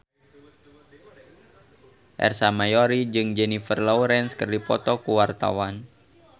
Ersa Mayori jeung Jennifer Lawrence keur dipoto ku wartawan